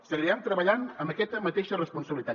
seguirem treballant amb aquesta mateixa responsabilitat